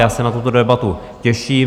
Já se na tuto debatu těším.